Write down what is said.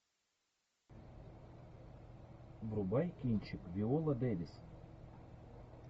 врубай кинчик виола дэвис